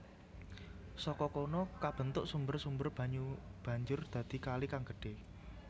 Saka kono kabentuk sumber sumber banyu banjur dadi kali kang gedhe